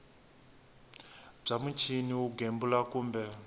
bya muchini wo gembula kumbe